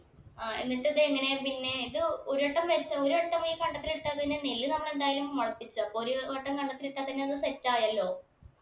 ആ എന്നിട്ട് ഇത് എങ്ങനെ പിന്നെ ഇത് ഒരുവട്ടം വരുത്ത ഒരു വട്ടം ഈ കണ്ടത്തിൽ ഇട്ടാ തന്നെ നെല്ല് നമ്മൾ എന്തായാലു മുളപ്പിച്ച് അപ്പൊ ഒരു വട്ടം കണ്ടത്തിൽ ഇട്ടാ തന്നെ അത് set ആയല്ലോ